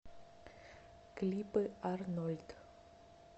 клипы арнольд